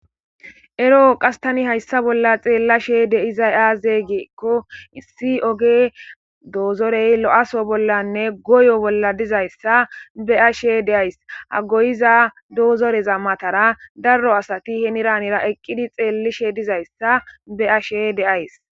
ero qastani hayssa bolla xeellashe deizay aazeygeekko issi oge doozorey lo7aso bollanne goyo bolla dizayssa be ashe deays hagoyiza doozoreza matara darro asati heniranira eqqidi xeellishe dizayssa be ashe deays